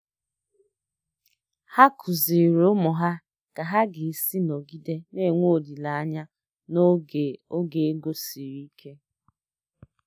Ha kụziiri ụmụ ha ka ha ga-esi nọgide na-enwe olileanya n'oge oge ego siri ike.